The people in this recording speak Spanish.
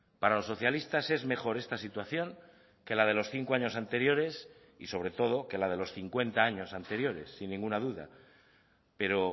para los socialistas es mejor esta situación que la de los cinco años anteriores y sobre todo que la de los cincuenta años anteriores sin ninguna duda pero